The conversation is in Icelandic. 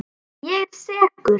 Ég er sekur.